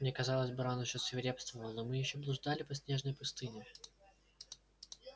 мне казалось буран ещё свирепствовал и мы ещё блуждали по снежной пустыне